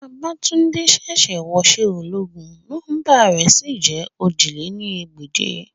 Babatunde ṣẹ̀ṣẹ̀ wọṣẹ́ ológun, nọmba rẹ̀ sì jẹ́ ojì lé ní ẹgbẹ́je